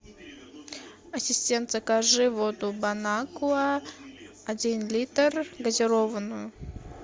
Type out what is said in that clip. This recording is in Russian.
ассистент закажи воду бон аква один литр газированную